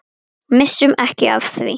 Missum ekki af því.